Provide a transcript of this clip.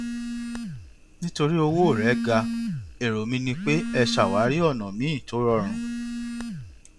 torí pé owó rẹ ga èrò mi ni pé ẹ ṣàwárí ònà míì tó rọrùn